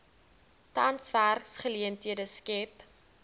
tans werksgeleenthede skep